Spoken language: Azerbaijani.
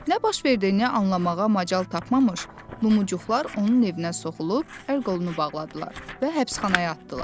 Nə baş verdiyini anlamağa macal tapmamış, Lumuçuqlar onun evinə soxulub, əl-qolunu bağladılar və həbsxanaya atdılar.